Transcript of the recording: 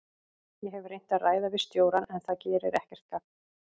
Ég hef reynt að ræða við stjórann en það gerir ekkert gagn.